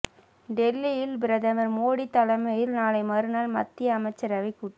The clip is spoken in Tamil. டெல்லியில் பிரதமர் மோடி தலைமையில் நாளை மறுநாள் மத்திய அமைச்சரவை கூட்டம்